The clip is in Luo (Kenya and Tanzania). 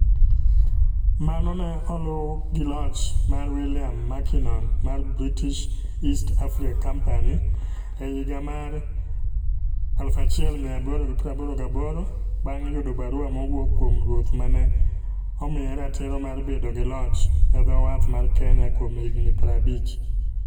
Mano ne oluw gi loch mar William Mackinnon mar British East Africa Company (BEAC) e higa 1888, bang' yudo barua mowuok kuom ruoth ma ne omiye ratiro mar bedo gi loch e dho wath mar Kenya kuom higini 50.